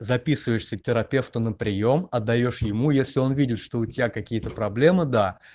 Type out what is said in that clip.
записываешься к терапевту на приём отдаёшь ему если он видит что у тебя какие-то проблемы то да